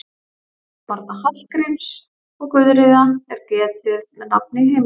Þriggja barna Hallgríms og Guðríðar er getið með nafni í heimildum.